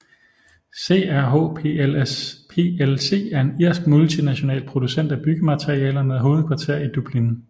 CRH plc er en irsk multinational producent af byggematerialer med hovedkvarter i Dublin